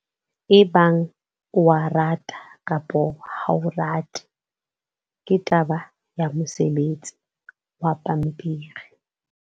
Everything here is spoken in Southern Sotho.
Ebang o a rata kapa ha o rate, ke taba ya mosebetsi wa pampiri.